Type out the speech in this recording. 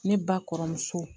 Ne ba kɔrɔmuso